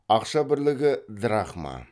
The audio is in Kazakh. ақша бірлігі драхма